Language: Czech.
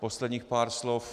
Posledních pár slov.